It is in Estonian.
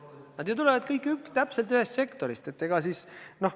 Nad ju tulevad kõik täpselt ühest sektorist!